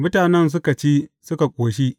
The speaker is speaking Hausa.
Mutanen suka ci, suka ƙoshi.